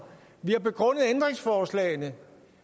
vi har begrundet ændringsforslagene